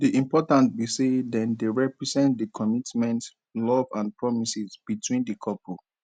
di importance be say dem dey represent di commitment love and promises between di couple